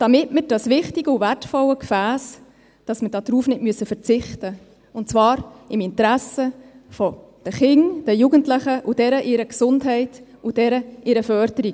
Damit wir auf dieses wichtige und wertvolle Gefäss nicht verzichten müssen, und zwar im Interesse der Kinder, der Jugendlichen und deren Gesundheit und Förderung.